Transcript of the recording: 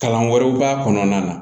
Kalan wɛrɛw b'a kɔnɔna na